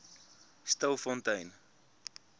stilfontein